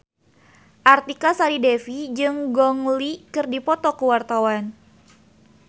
Artika Sari Devi jeung Gong Li keur dipoto ku wartawan